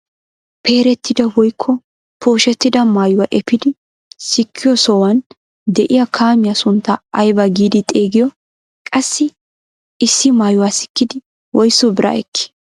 Peerettida woykko pooshettida maayuwaa epiidi sikkiyoo sohuwaan de'iyaa kaamiyaa sunttaa ayba giidi xeegiyoo? qassi issi maayuwaa sikkidi woysu biraa ekkii?